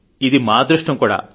ఇది మా అదృష్టం కూడా